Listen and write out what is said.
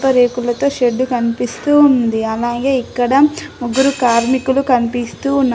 రేకులతో షెడ్డు కనిపిస్తూ ఉంది. అలాగే ఇక్కడ ముగ్గురు కార్మికులు కనిపిస్తూ ఉన్నారు.